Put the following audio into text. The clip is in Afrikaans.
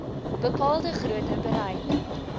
bepaalde grootte bereik